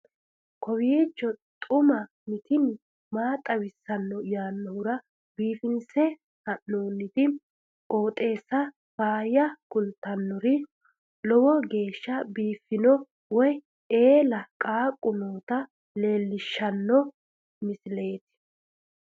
kowiicho xuma mtini maa xawissanno yaannohura biifinse haa'noonniti qooxeessano faayya kultannori lowo geeshsha biiffanno wayi eela qaaqu noota leellishshanno misileeti